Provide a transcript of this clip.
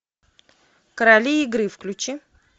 короли игры включи